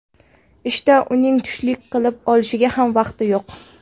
Ishda uning tushlik qilib olishiga ham vaqti yo‘q.